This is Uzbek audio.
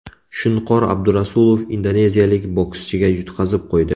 Shunqor Abdurasulov indoneziyalik bokschiga yutqazib qo‘ydi.